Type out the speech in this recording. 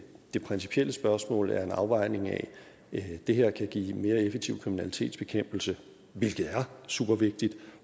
det principielle spørgsmål er en afvejning af at det her kan give mere effektiv kriminalitetsbekæmpelse hvilket er supervigtigt